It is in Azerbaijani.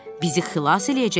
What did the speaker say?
Bizi xilas eləyəcəksən.